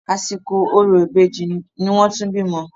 Àsìkò orò ìbejì ni wọ́n tún bímọ.